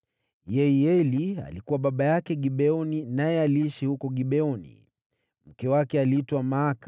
Yeieli alikuwa baba yake Gibeoni naye aliishi huko Gibeoni. Mke wake aliitwa Maaka.